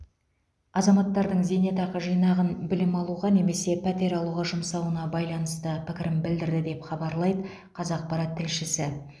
азаматтардың зейнетақы жинағын білім алуға немесе пәтер алуға жұмсауына байланысты пікірін білдірді деп хабарлайды қазақпарат тілшісі